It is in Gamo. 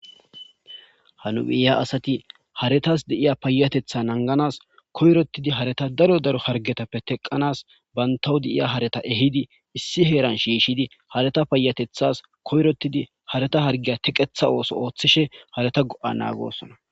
Ha nu miyiya asathi harethas de7iya payyatheththaa nangganaas koyroththidi haretha daro daro harggethappe theqqanaas banththawu de7iya haretha ehidi issi heeran shiishshidi haretha payyatheththaas koyiroththidi haretha harggiya theqeththa ooso ooththishe haretha go7aa naagoosona.